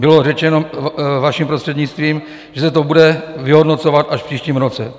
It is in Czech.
Bylo řečeno, vaším prostřednictvím, že se to bude vyhodnocovat až v příštím roce.